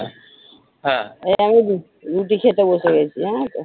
রুটি খেতে বসে গেছি জানো তো?